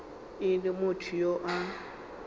e le motho yo a